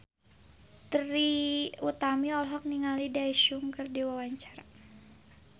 Trie Utami olohok ningali Daesung keur diwawancara